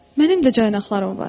Mənim də caynaqlarım var.